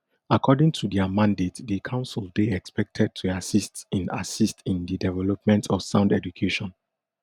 according to dia mandate di council dey expected to assist in assist in di development of sound education